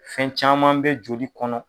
Fɛn caman bɛ joli kɔnɔ.